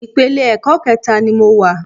Ìpele ẹ̀kọ́ kẹẹ̀ta ni mo wà.